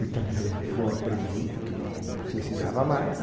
O italiano não aprendi porque não não não se ensinava mais.